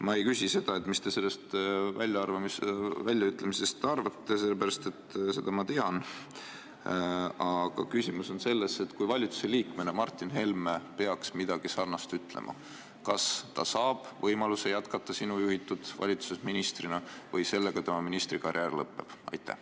Ma ei küsi, mida sa sellest väljaütlemisest arvad, sellepärast et seda ma tean, aga minu küsimus on: kui Martin Helme peaks ministrina midagi sarnast ütlema, kas ta saab jätkata sinu juhitud valitsuses ministrina või sellega tema ministrikarjäär lõpeb?